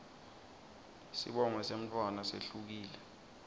sibongo semntfwana sehlukile